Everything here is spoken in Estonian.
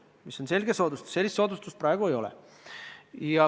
See on selge soodustus, sellist soodustust praegu ei ole.